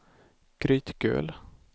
Grytgöl